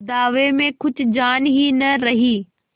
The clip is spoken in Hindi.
दावे में कुछ जान ही न रही